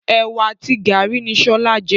Ewa àti garri ni sọlá jẹ.